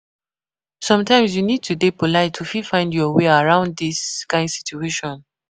Sometimes you need to dey polite to fit find your way around this kind situation